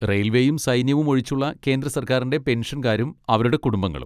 റയിൽവേയും സൈന്യവും ഒഴിച്ചുള്ള കേന്ദ്ര സർക്കാരിൻ്റെ പെൻഷൻകാരും അവരുടെ കുടുംബങ്ങളും.